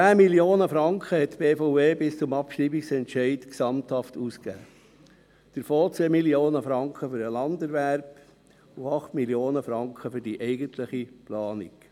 10 Mio. Franken hat die BVE bis zum Abschreibungsentscheid gesamthaft ausgegeben, davon 2 Mio. Franken für den Landerwerb und 8 Mio. Franken für die eigentliche Planung.